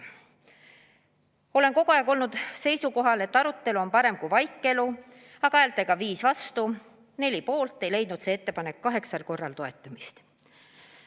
Ma olen kogu aeg olnud seisukohal, et arutelu on parem kui vaikelu, aga häältega 5 vastu, 4 poolt ei leidnud see ettepanek kaheksal korral toetamist.